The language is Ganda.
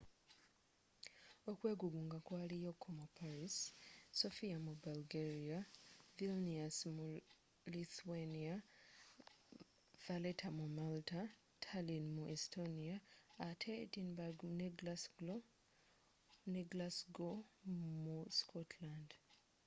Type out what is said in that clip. okwegugunga kwaliyo ko mu paris sofia mu bulgaria vilnius mu lithuania valeta mu malta tallin mu estonia ate edinburgh ne glasgow mu scotland